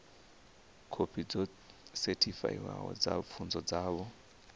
khophi dzo sethifaiwaho dza pfunzo dzavho